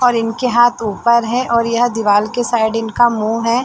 और इनके हाथ ऊपर है और यह दीवाल के साइड इनका मूँह है।